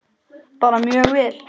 Bara mjög vel.